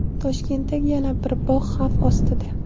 Toshkentdagi yana bir bog‘ xavf ostida.